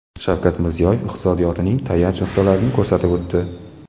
Shavkat Mirziyoyev iqtisodiyotning tayanch nuqtalarini ko‘rsatib o‘tdi.